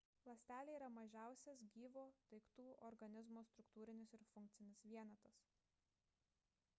ląstelė yra mažiausias gyvo daiktų organizmo struktūrinis ir funkcinis vienetas